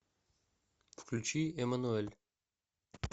включи эммануэль